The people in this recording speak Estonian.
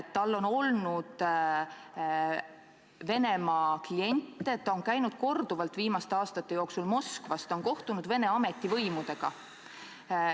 Tal on olnud Venemaa klient, ta on viimaste aastate jooksul käinud korduvalt Moskvas ja kohtunud Vene ametivõimudega.